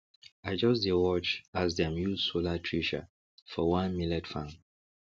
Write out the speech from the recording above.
i just dey watch as dem use solar thresher for one millet farm